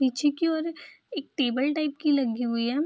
पीछे की ओर एक टेबल टाइप की लगी हुई है।